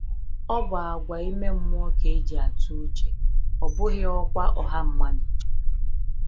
Ọ bụ àgwà ime mmụọ ka e ji atụ uche, ọ bụghị ọkwa ọha mmadụ.